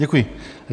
Děkuji.